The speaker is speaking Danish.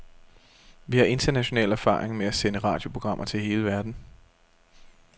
Vi har international erfaring med at sende radioprogrammer til hele verden.